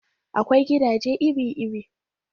Akwai gidaje iri-iri